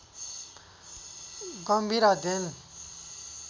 गम्भीर अध्ययन